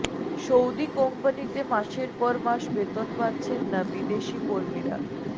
Saudi কোম্পানিতে মাসের পর মাস বেতন পাচ্ছেন না বিদেশি কর্মীরা